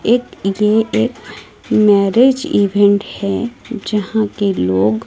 एक ये एक मैरिज इवेंट है जहां के लोग--